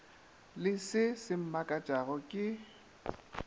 le se se mmakatšang ke